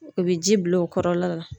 U bɛ ji bil'o kɔrɔla la.